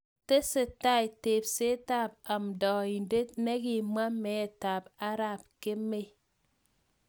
Tesetai tebsetab ab amndaindet nekimwa meetab arap kemei